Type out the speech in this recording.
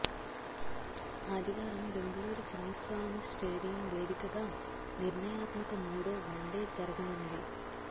ఆదివారం బెంగళూరు చిన్నస్వామి స్టేడియం వేదికగా నిర్ణయాత్మక మూడో వన్డే జరగనుంది